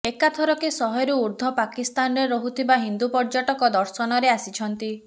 ଏକାଥରକେ ଶହେରୁ ଉର୍ଦ୍ଧ୍ୱ ପାକିସ୍ତାନରେ ରହୁଥିବା ହିନ୍ଦୁ ପର୍ଯ୍ୟଟକ ଦର୍ଶନରେ ଆସିଛନ୍ତି